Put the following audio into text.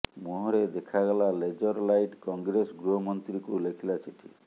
ମୁହଁରେ ଦେଖାଗଲା laser light Congress ଗୃହମନ୍ତ୍ରୀଙ୍କୁ ଲେଖିଲା ଚିଠି